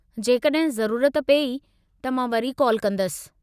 जेकड॒हिं ज़रूरत पेई त मां वरी कॉल कंदसि।